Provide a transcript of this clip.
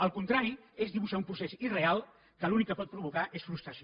el contrari es dibuixar un procés irreal que l’únic que pot provocar és frustració